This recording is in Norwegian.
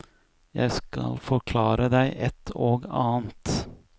Jeg skal forklare deg et og annet.